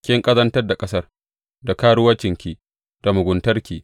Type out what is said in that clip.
Kin ƙazantar da ƙasar da karuwancinki da muguntarki.